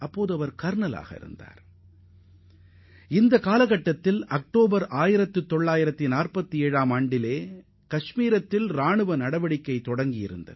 அந்த காலத்தில்தான் காஷ்மீரில் ராணுவ நடவடிக்கைகள் தொடங்கியது